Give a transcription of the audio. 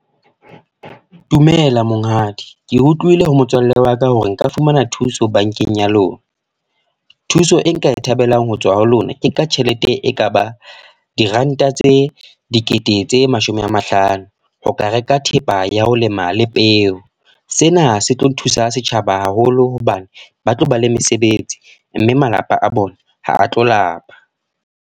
Dumela monghadi. Ke utlwile ho motswalle wa ka hore nka fumana thuso bankeng ya lona. Thuso e nka e thabelang ho tswa ho lona. Ke ka tjhelete e ka ba, diranta tse dikete tse mashome a mahlano. Ho ka reka thepa ya ho lema le peo. Sena se tlo thusa setjhaba haholo hobane ba tlo ba le mesebetsi. Mme malapa a bona ha a tlo lapa.